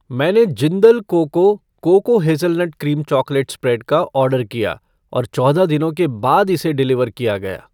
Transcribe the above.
मैंने Jindal cocoa cocoa hazelnut cream chocolate spread का order किया और चौदह दिनों के बाद इसे डिलीवर किया गया।